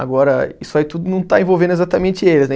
Agora, isso aí tudo não está envolvendo exatamente eles, né.